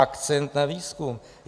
Akcent na výzkum?